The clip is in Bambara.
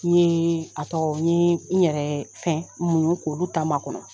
N ɲe a tɔgɔ, n ɲe, n ɲɛrɛ fɛn muɲu k'olu ta makɔnɔ.